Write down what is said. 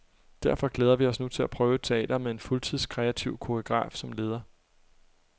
Derfor glæder vi os nu til at prøve et teater med en fuldtids, kreativ koreograf som leder.